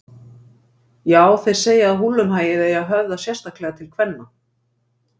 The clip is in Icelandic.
Já, þeir segja að húllumhæið eigi að höfða sérstaklega til kvenna.